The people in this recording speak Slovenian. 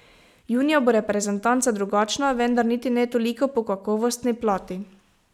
Junija bo reprezentanca drugačna, vendar niti ne toliko po kakovostni plati.